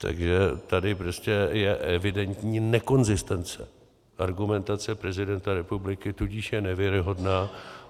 Takže tady prostě je evidentní nekonzistence argumentace prezidenta republiky, tudíž je nevěrohodná.